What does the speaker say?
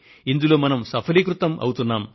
ఇందులో మనం సఫలీకృతులం అవుతున్నాము